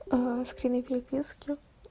скрины переписки